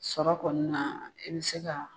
Sɔrɔ kɔni na i bi se ka